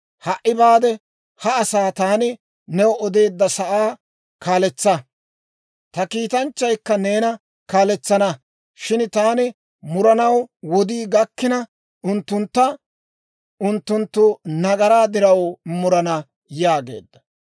Ha"i baade, ha asaa taani new odeedda sa'aa kaaletsa; ta kiitanchchaykka neena kaaletsana; shin taani muranaw wodii gakkina, unttuntta unttunttu nagaraa diraw murana» yaageedda.